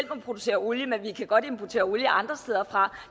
producere olie men at vi godt kan importere olie andre steder fra